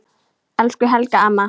Elsku Helga amma.